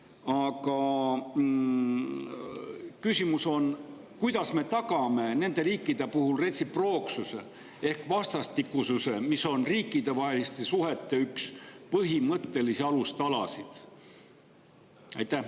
Aga küsimus on: kuidas me tagame nende riikide puhul retsiprooksuse ehk vastastikususe, mis on üks riikidevaheliste suhete põhimõttelisi alustalasid?